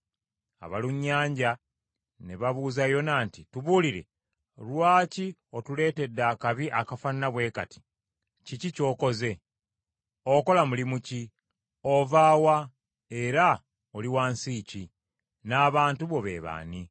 Abalunnyanja ne babuuza Yona nti, “Tubuulire, lwaki otuleetedde akabi akafaanana bwe kati, kiki ky’okoze? Okola mulimu ki? Ova wa era oli wa nsi ki, n’abantu bo be b’ani?”